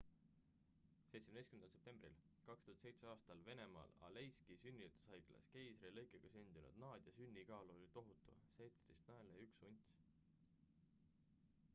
17 septembril 2007 aastal venemaal aleiski sünnitushaiglas keisrilõikega sündinud nadia sünnikaal oli tohutu 17 naela ja 1 unts